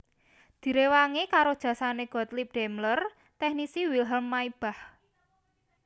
Direwangi karo jasane Gottlieb Daimler teknisi Wilhelm Maybach